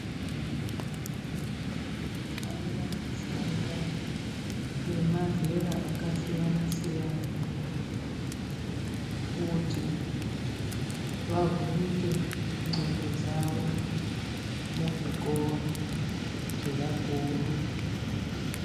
Vantu vanofanira kufunda vemazera akasiyana siyana kuti vavhurike ndxondo dzavo muzvikora zvevakuru.